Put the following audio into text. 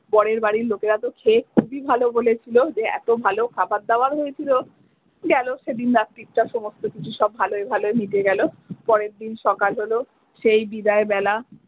বরের বাড়ির লোকেরা তো খেয়ে খুবই ভালো বলেছিলো যে এত ভালো খাবার দাবার হয়েছিলো গেল সেদিন রাত্রিটা সমস্ত কিছু সব ভালোয় ভালোয় মিটে গেলো পরের দিন সকাল হলো সেই বিদায় বেলা।